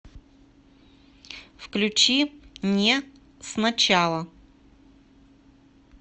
включи не с начала